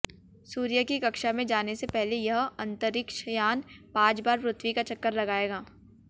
सूर्य की कक्षा में जाने से पहले यह अंतरिक्षयान पांच बार पृथ्वी का चक्कर लगाएगा